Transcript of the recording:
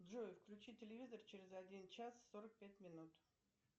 джой включи телевизор через один час сорок пять минут